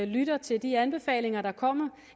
lytter til de anbefalinger der kommer